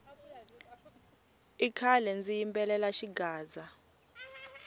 i khale ndzi yimbelela xigaza